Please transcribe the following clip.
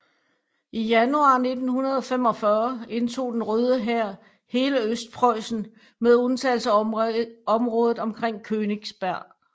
I januar 1945 indtog den Røde Hær hele Østpreussen med undtagelse af området omkring Königsberg